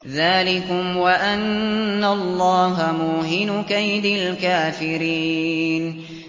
ذَٰلِكُمْ وَأَنَّ اللَّهَ مُوهِنُ كَيْدِ الْكَافِرِينَ